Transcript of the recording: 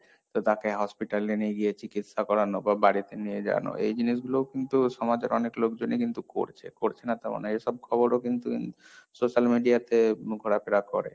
তো তাকে hospital এ নিয়ে গিয়ে চিকিৎসা করানো, বা বাড়িতে নিয়ে যাওয়ানো, এই জিনিসগুলোও কিন্তু সমাজের অনেক লোকজনই কিন্তু করছে, করছে না তার মানে এসব খবরও কিন্তু social media তে ঘোরাফেরা করে।